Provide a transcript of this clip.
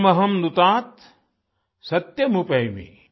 इदमहमनृतात सत्यमुपैमि